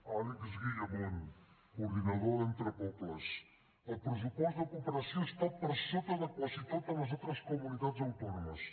àlex guillamón coordinador d’entrepobles el pressupost de cooperació està per sota de quasi totes les altres comunitats autònomes